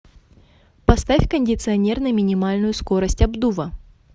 поставь кондиционер на минимальную скорость обдува